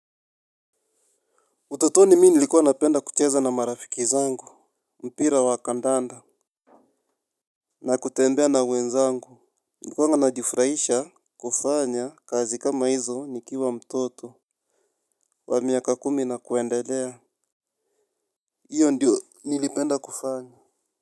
Utotoni mi nilikuwa napenda kucheza na marafiki zangu. Mpira wa kandanda. Na kutembea na wenzangu. Nilikuwa najifurahisha kufanya kazi kama hizo nikiwa mtoto. Wa miaka kumi na kuendelea. Iyo ndio nilipenda kufanya.